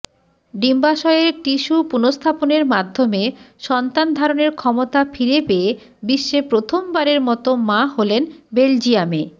ডিম্বাশয়ের tissue পুনঃস্থাপনের মাধ্যমে সন্তান ধারণের ক্ষমতা ফিরে পেয়ে বিশ্বে প্রথমবারের মতো মা হলেন বেলজিয়ামে